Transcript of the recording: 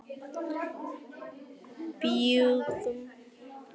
Við bjuggum til snjókarl með krökkunum, sagði hann.